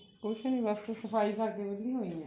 ਕੁਝ ਨੀ ਬਸ ਸਫਾਈ ਕਰਕੇ ਵਹਿਲੀ ਹੋਈ ਹਾਂ